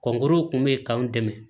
Kɔnkuruw kun be yen k'an dɛmɛ